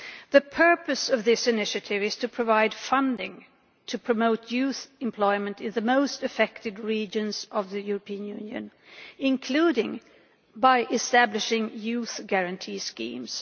The purpose of this initiative is to provide funding to promote youth employment in the most affected regions of the European Union, including by establishing youth guarantee schemes.